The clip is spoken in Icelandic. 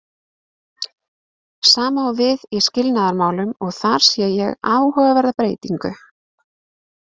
Sama á við í skilnaðarmálunum og þar sé ég áhugaverða breytingu.